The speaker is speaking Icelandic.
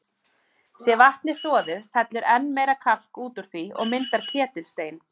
Sé vatnið soðið, fellur enn meira kalk út úr því og myndar ketilstein.